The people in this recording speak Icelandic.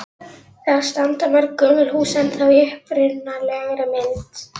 Þar standa mörg gömul hús ennþá í upprunalegri mynd.